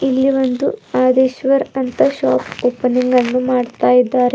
ಇಲ್ಲಿ ಒಂದು ಆದಿಶ್ವರ್ ಅಂತ ಶಾಪ್ ಓಪನಿಂಗ್ ಅನ್ನು ಮಾಡ್ತಾ ಇದ್ದಾರೆ.